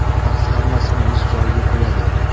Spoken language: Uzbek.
Vaqt hammasini o‘z joyiga qo‘yadi.